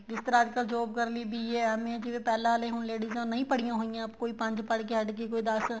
ਜਿਸ ਤਰ੍ਹਾਂ ਅੱਜਕਲ job ਕਰਨ ਲਈ BA MA ਜਿਵੇਂ ਪਹਿਲਾ ਆਲੇ ਹੁਣ ladies ਉਹ ਨਹੀਂ ਪੜਈਆਂ ਹੋਈਆਂ ਕੋਈ ਪੰਜ ਪੜਕੇ ਹੱਟ ਗਈ ਕੋਈ ਦੱਸ